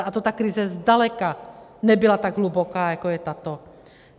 A to ta krize zdaleka nebyla tak hluboká, jako je tato.